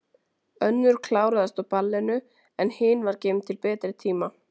Önnur kláraðist á ballinu, en hin var geymd til betri tíma.